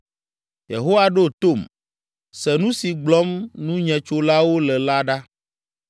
Yehowa, ɖo tom, se nu si gblɔm nunyetsolawo le la ɖa!